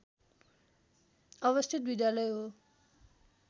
अवस्थित विद्यालय हो